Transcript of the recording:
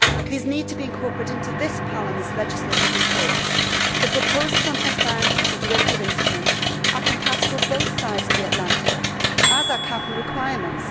These need to be incorporated into this Parliament's legislative reports. The proposals on transparency for derivative instruments are compatible on both sides of the Atlantic, as are capital requirements.